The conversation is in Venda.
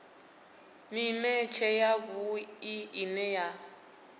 mimetshe ya vhui ine ya